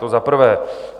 To za prvé.